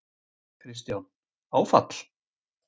Kristján: Áfall?